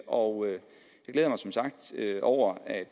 og jeg glæder mig som sagt over at